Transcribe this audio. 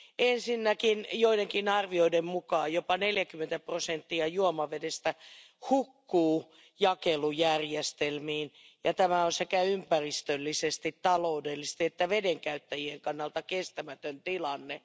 Ensinnäkin joidenkin arvioiden mukaan jopa 40 prosenttia juomavedestä hukkuu jakelujärjestelmiin, ja tämä on sekä ympäristöllisesti, taloudellisesti että vedenkäyttäjien kannalta kestämätön tilanne.